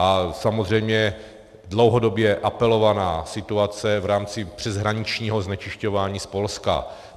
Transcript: A samozřejmě dlouhodobě apelovaná situace v rámci přeshraničního znečišťování z Polska.